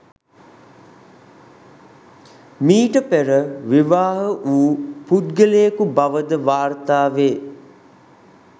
මීට පෙර විවාහ වූ පුද්ගලයෙකු බවද වාර්තාවේ.